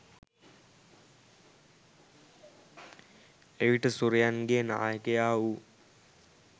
එවිට සුරයන්ගේ නායකයා වූ